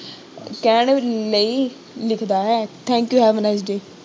ਕਹਿਣ ਲਈ ਲਿਖਦਾ ਹੈ Thank you, have a nice day